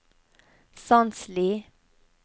Sandsli